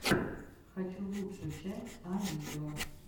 хочу лучшую часть а видео